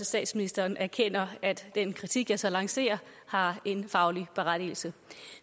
statsministeren erkender at den kritik jeg så lancerer har en faglig berettigelse